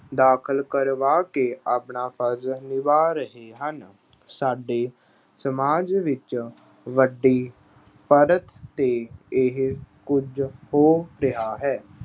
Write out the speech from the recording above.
ਦਾਖਲ ਕਰਵਾ ਕੇ ਆਪਣਾ ਫ਼ਰਜ਼ ਨਿਭਾਅ ਰਹੇ ਹਨ। ਸਾਡੇ ਸਮਾਜ ਵਿੱਚ ਵੱਡੀ ਪੱਧਰ 'ਤੇ ਇਹ ਕੁਝ ਹੋ ਰਿਹਾ ਹੈ।